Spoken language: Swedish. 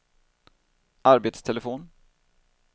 arbetstelefon